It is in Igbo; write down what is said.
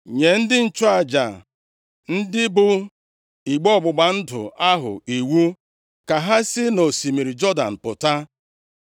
“Nye ndị nchụaja, ndị bu igbe ọgbụgba ndụ ahụ iwu ka ha si nʼosimiri Jọdan pụta.”